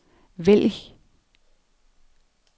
vælg